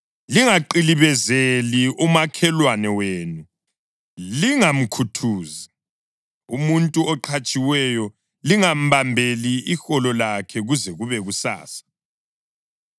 Lingaqilibezeli umakhelwane wenu, lingamkhuthuzi. Umuntu oqhatshiweyo lingambambeli iholo lakhe kuze kube kusasa.